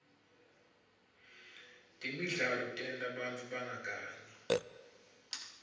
temidlalo tenta bantfu bangagangi